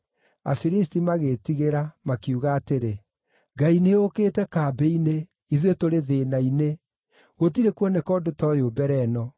Afilisti magĩĩtigĩra makiuga atĩrĩ, “Ngai nĩyũkĩte kambĩ-inĩ, ithuĩ tũrĩ thĩĩna-inĩ! Gũtirĩ kuoneka ũndũ ta ũyũ mbere ĩno.